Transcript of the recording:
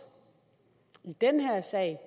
i den her sag